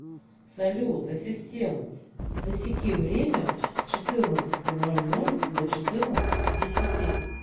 салют ассистент засеки время с четырнадцати ноль ноль до четырнадцати десяти